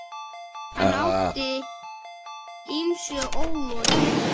Hann átti ýmsu ólokið.